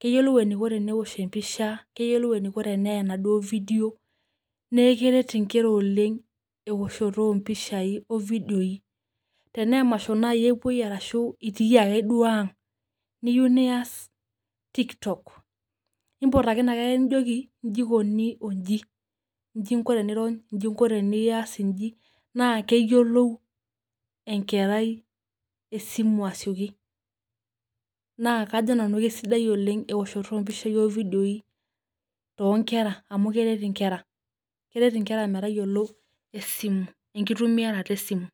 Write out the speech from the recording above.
keyiolou eniko tenewosh empisha neyiolou eniko eneya enaduo video omeoshoto ompisbai impisai, nepuoi arashu itu duake iyoake niyieu nias tiktok nimpot ake inakerai nijoki nji ikuni onji, inji inko oeias nji na keyiolou atoosho mpishai oleng na kajo nanu kesidai oleng eoahoto ompisai oividioi tonkera amu keret nkers metayiolo esimu, enkitobirata esimu.